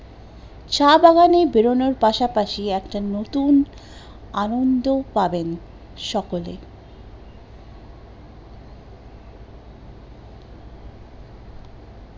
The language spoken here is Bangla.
চা বাগানের বেরোনোর পাশাপাশি একটা নতুন আনন্দ পাবেন সকলেই